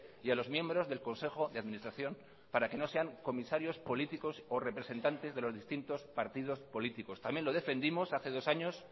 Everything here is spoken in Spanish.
y a los miembros del consejo de administración para que no sean comisarios políticos o representantes de los distintos partidos políticos también lo defendimos hace dos años